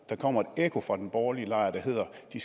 kommer et ekko fra den borgerlige lejr der hedder at de